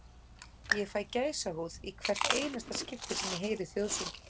Ég fæ gæsahúð í hvert einasta skipti sem ég heyri þjóðsönginn.